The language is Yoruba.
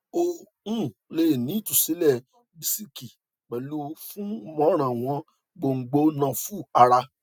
o um le ni itusilẹ disiki pẹlu funmorawon gbongbo nafu ara